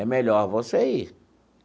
É melhor você ir.